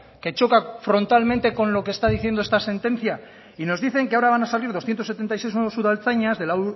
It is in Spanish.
que choca frontalmente con lo que está diciendo sentencia y nos dicen que ahora van a salir doscientos setenta y siete nuevos udaltzainas de la